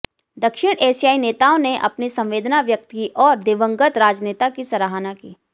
दक्षिण एशियाई नेताओं ने अपनी संवेदना व्यक्त की और दिवंगत राजनेता की सराहना की